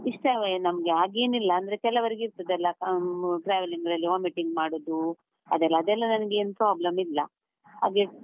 ಇಷ್ಟವೆ ನಮ್ಗೆ ಹಾಗೇನಿಲ್ಲ, ಅಂದ್ರೆ ಕೆಲವರಿಗೆ ಇರ್ತದಲ್ಲ, ಹ್ಮ್ travelling ಅಲ್ಲಿ vomiting ಮಾಡುದು ಅದೆಲ್ಲಾ ಅದೆಲ್ಲಾ ನಂಗೆ ಏನ್ problem ಇಲ್ಲ, ಹಾಗೆ.